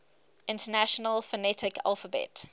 international phonetic alphabet